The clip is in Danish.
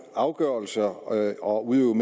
afgørelser og og udøve